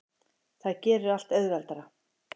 Það gerir allt auðveldara.